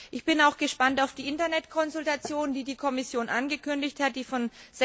Ich bin auch gespannt auf die Internetkonsultation, die die Kommission angekündigt hat und die vom